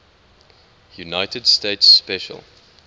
united states special